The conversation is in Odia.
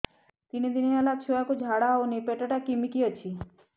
ତିନି ଦିନ ହେଲା ଛୁଆକୁ ଝାଡ଼ା ହଉନି ପେଟ ଟା କିମି କି ଅଛି